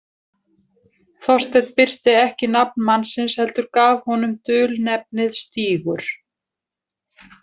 Þorsteinn birti ekki nafn mannsins, heldur gaf honum dulnefnið „Stígur“.